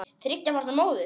Þriggja barna móðir.